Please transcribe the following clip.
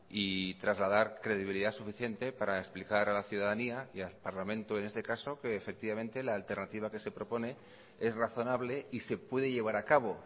y trasladar credibilidad suficiente para explicar a la ciudadanía y al parlamento en este caso que efectivamente la alternativa que se propone es razonable y se puede llevar a cabo